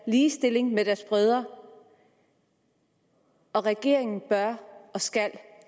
ligestilling med deres brødre og regeringen bør og skal